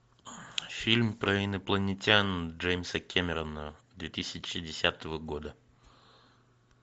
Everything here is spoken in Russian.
фильм про инопланетян джеймса кемерона две тысячи десятого года